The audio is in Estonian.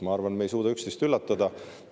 Ma arvan, et me ei suuda üksteist üllatada.